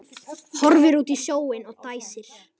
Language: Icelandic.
Horfir út á sjóinn og dæsir.